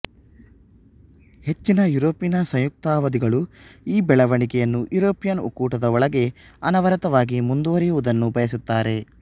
ಹೆಚ್ಚಿನ ಯುರೋಪಿನ ಸಂಯುಕ್ತತಾವಾದಿಗಳು ಈ ಬೆಳವಣಿಗೆಯನ್ನು ಯುರೋಪಿಯನ್ ಒಕ್ಕೂಟದ ಒಳಗೆ ಅನವರತವಾಗಿ ಮುಂದುವರೆಯುವುದನ್ನು ಬಯಸುತ್ತಾರೆ